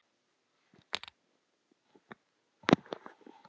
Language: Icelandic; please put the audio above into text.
Hún settist á hjólið og setti það í gang.